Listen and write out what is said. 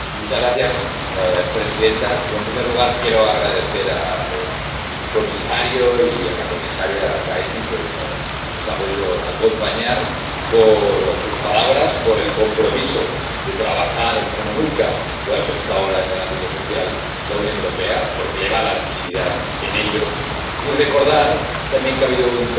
Señora presidenta yo, en primer lugar, quiero dar las gracias al comisario y a la comisaria Thyssen —que hoy no nos ha podido acompañar— por sus palabras, por el compromiso de trabajar como nunca lo ha hecho hasta ahora en el ámbito social la Unión Europea —porque le va la legitimidad en ello—, y recordar también que ha habido un trabajo